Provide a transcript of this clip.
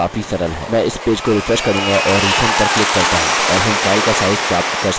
मैं इस पेज को रिफ्रेश करूँगा और रिसेंड पर क्लिक करता हूँ और हम फाइल का साइज़ प्राप्त कर सकते हैं